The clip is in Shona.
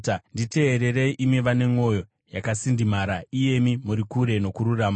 Nditeererei, imi vane mwoyo yakasindimara, iyemi muri kure nokururama.